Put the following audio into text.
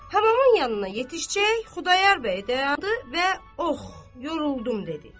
Həbamın yanına yetişcək, Xudayar bəy dayandı və ox, yoruldum dedi.